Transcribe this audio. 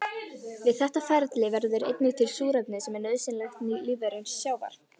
Við þetta ferli verður einnig til súrefni sem er nauðsynlegt lífverum sjávar.